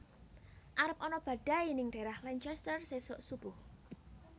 Arep ana badai ning daerah Lancaster sesok subuh